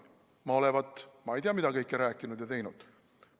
Ma olevat ma ei tea mida kõike rääkinud ja teinud.